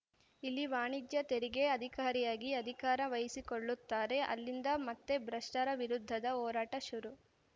ಇಲ್ಲಿ ವಾಣಿಜ್ಯ ತೆರಿಗೆ ಅಧಿಕಾರಿಯಾಗಿ ಅಧಿಕಾರ ವಹಿಸಿಕೊಳ್ಳುತ್ತಾರೆ ಅಲ್ಲಿಂದ ಮತ್ತೆ ಭ್ರಷ್ಟರ ವಿರುದ್ಧದ ಹೋರಾಟ ಶುರು